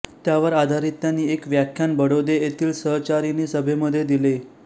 त्यावर आधारित त्यांनी एक व्याख्यान बडोदे येथील सहचारिणी सभेमध्ये दिले